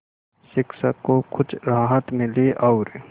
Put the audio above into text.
शिक्षक को कुछ राहत मिली और